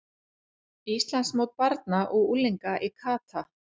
Íslandsmót barna og unglinga í kata